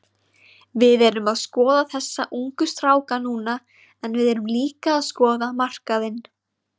Við erum að skoða þessa ungu stráka núna en við erum líka að skoða markaðinn.